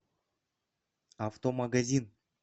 автомагазин